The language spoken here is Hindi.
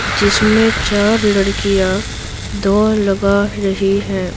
जिसमें चार लड़कियां दो लगा रही हैं।